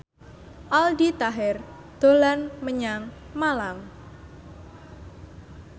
Aldi Taher dolan menyang Malang